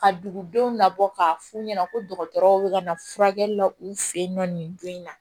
Ka dugudenw labɔ k'a f'u ɲɛna ko dɔgɔtɔrɔw bɛ ka na furakɛli la u fɛ yen nɔ nin don in na